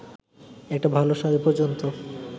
একটা ভালো শাড়ি পর্যন্ত